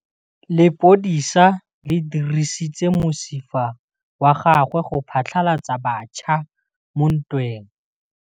Lepodisa le dirisitse mosifa wa gagwe go phatlalatsa batšha mo ntweng.